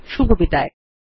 শুভবিদায়